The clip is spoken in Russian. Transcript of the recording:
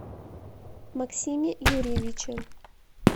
максиме юрьевиче